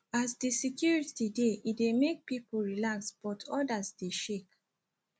as di security dey e dey make people relax but others dey shake